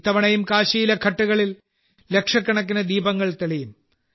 ഇത്തവണയും കാശിയിലെ ഘാട്ടുകളിൽ ലക്ഷക്കണക്കിന് ദീപങ്ങൾ തെളിയും